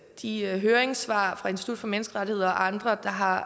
de høringssvar fra institut for menneskerettigheder og andre der har